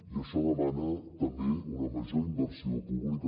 i això demana també una major inversió pública